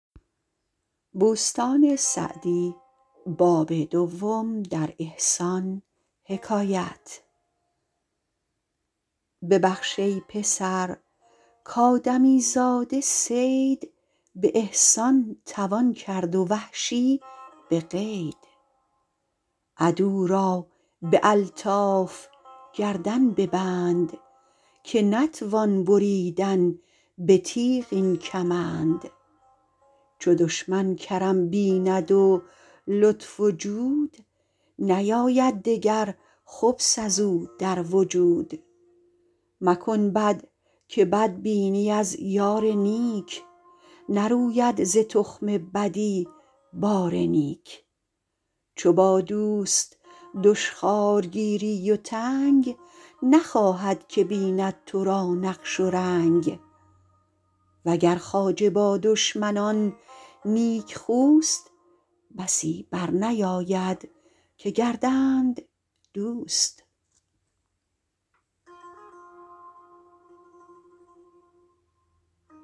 ببخش ای پسر کآدمی زاده صید به احسان توان کرد و وحشی به قید عدو را به الطاف گردن ببند که نتوان بریدن به تیغ این کمند چو دشمن کرم بیند و لطف و جود نیاید دگر خبث از او در وجود مکن بد که بد بینی از یار نیک نروید ز تخم بدی بار نیک چو با دوست دشخوار گیری و تنگ نخواهد که بیند تو را نقش و رنگ و گر خواجه با دشمنان نیکخوست بسی بر نیاید که گردند دوست